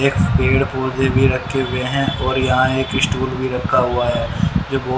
एक पेड़ पौधे भी रखे हुए हैं और यहां एक स्टुल भी रखा हुआ है जो बहुत--